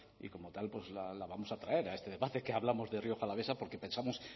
y como tal pues la vamos a traer a este debate que hablamos de rioja alavesa porque pensamos